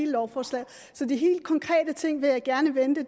lovforslaget så de helt konkrete ting vil jeg gerne vente